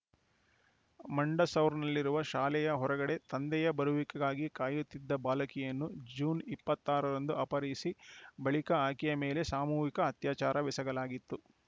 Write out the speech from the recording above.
ಮಂಡಸೌರ್‌ನಲ್ಲಿರುವ ಶಾಲೆಯ ಹೊರಗಡೆ ತಂದೆಯ ಬರುವಿಕೆಗಾಗಿ ಕಾಯುತ್ತಿದ್ದ ಬಾಲಕಿಯನ್ನು ಜೂನ್ ಇಪ್ಪತ್ತ್ ಆರರಂದು ಅಪಹರಿಸಿ ಬಳಿಕ ಆಕೆಯ ಮೇಲೆ ಸಾಮೂಹಿಕ ಅತ್ಯಾಚಾರವೆಸಗಲಾಗಿತ್ತು